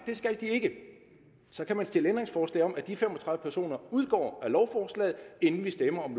det skal de ikke så kan man stille ændringsforslag om at de fem og tredive personer udgår af lovforslaget inden vi stemmer om